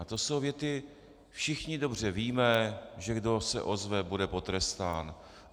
A to jsou věty "všichni dobře víme, že kdo se ozve, bude potrestán".